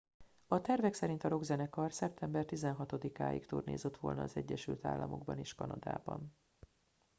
a tervek szerint a rockzenekar szeptember 16 ig turnézott volna az egyesült államokban és kanadában